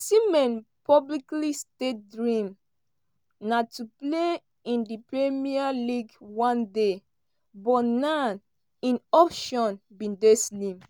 osimhen publicly state dream na to play in di premier league one day but now im options bin dey slim.